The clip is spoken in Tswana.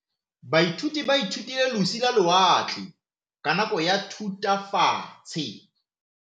Baithuti ba ithutile ka losi lwa lewatle ka nako ya Thutafatshe.